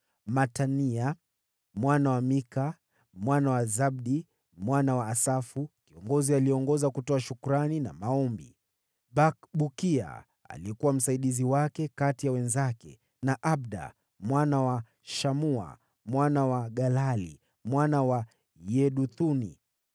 Matania mwana wa Mika, mwana wa Zabdi, mwana wa Asafu, kiongozi aliyeongoza kutoa shukrani na maombi; Bakbukia aliyekuwa msaidizi wake kati ya wenzake; na Abda mwana wa Shamua, mwana wa Galali, mwana wa Yeduthuni.